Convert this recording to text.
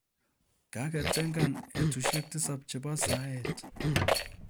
Kaketengan [etusiek tisap chebo saet